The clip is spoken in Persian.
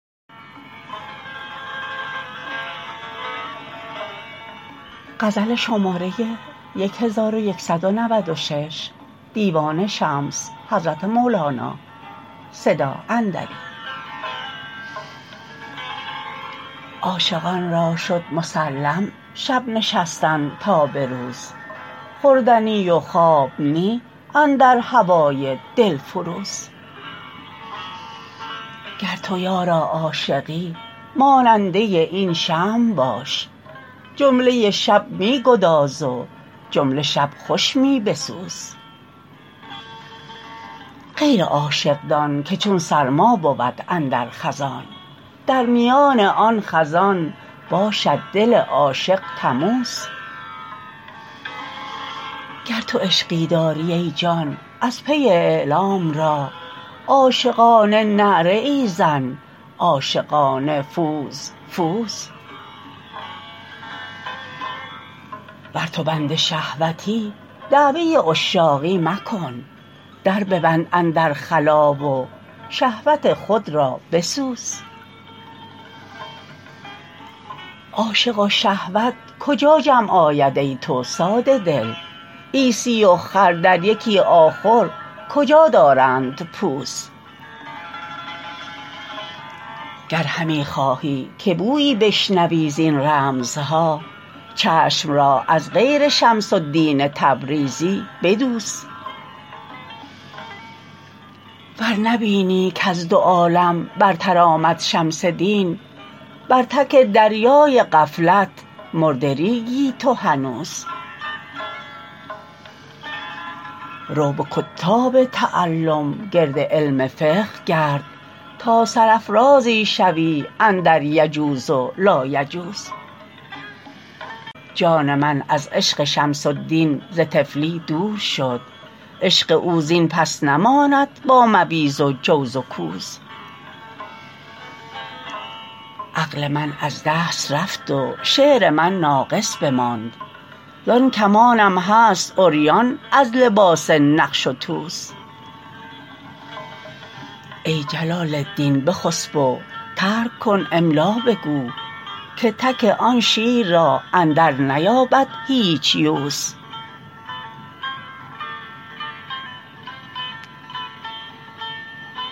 عاشقان را شد مسلم شب نشستن تا به روز خورد نی و خواب نی اندر هوای دلفروز گر تو یارا عاشقی ماننده این شمع باش جمله شب می گداز و جمله شب خوش می بسوز غیر عاشق دان که چون سرما بود اندر خزان در میان آن خزان باشد دل عاشق تموز گر تو عشقی داری ای جان از پی اعلام را عاشقانه نعره ای زن عاشقانه فوز فوز ور تو بند شهوتی دعوی عشاقی مکن در ببند اندر خلاء و شهوت خود را بسوز عاشق و شهوت کجا جمع آید ای تو ساده دل عیسی و خر در یکی آخر کجا دارند پوز گر همی خواهی که بویی بشنوی زین رمزها چشم را از غیر شمس الدین تبریزی بدوز ور نبینی کز دو عالم برتر آمد شمس دین بر تک دریای غفلت مرده ریگی تو هنوز رو به کتاب تعلم گرد علم فقه گرد تا سرافرازی شوی اندر یجوز و لایجوز جان من از عشق شمس الدین ز طفلی دور شد عشق او زین پس نماند با مویز و جوز و کوز عقل من از دست رفت و شعر من ناقص بماند زان کمانم هست عریان از لباس نقش و توز ای جلال الدین بخسپ و ترک کن املا بگو که تک آن شیر را اندرنیابد هیچ یوز